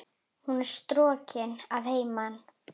Hún er strokin að heiman.